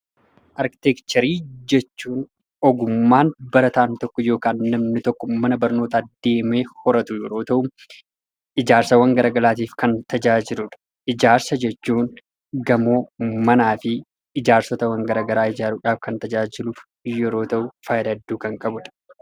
Arkiteekcharii jechuun ogummaa barataan tokko yookaan namni tokko mana barnootaa deemee horatu yeroo ta'u, ijaarsawwan gara garaatiif kan tajaajiludha. Ijaarsa jechuun gamoo, manaa fi ijaarsotawwan garaa garaa ijaaruudhaaf kan tajaajilu yeroo ta'u, faayidaa hedduu kan qabudha.